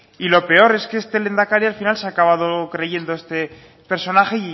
y lo peor es que este lehendakari al final se ha acabado creyendo este personaje